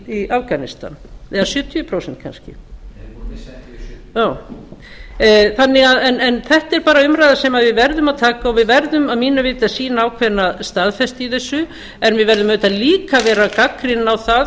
í afganistan eða sjötíu prósent en þetta er bara umræða sem við verðum að taka og við verðum að mínu viti að sýna ákveðna staðfestu í þessu en við verðum auðvitað líka að vera gagnrýnin á það